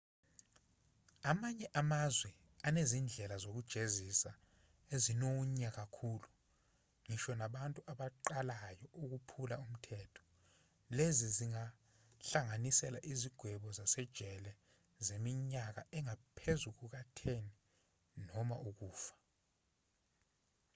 amanye amazwe anezindlela zokujezisa ezinonya kakhulu ngisho nakubantu abaqalayo ukuphula umthetho lezi zingahlanganisa izigwebo zasejele zeminyaka engaphezu kuka-10 noma ukufa